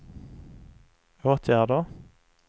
åtgärder